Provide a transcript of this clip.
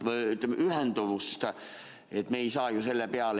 Me ei saa ju selle peale.